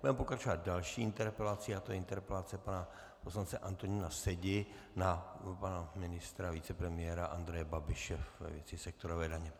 Budeme pokračovat další interpelací a to je interpelace pana poslance Antonína Sedi na pana ministra, vicepremiéra Andreje Babiše ve věci sektorové daně.